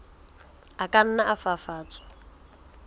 a ka nna a fafatswa